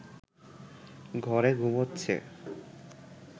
ঘরে ঘুমোচ্ছে